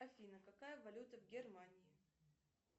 афина какая валюта в германии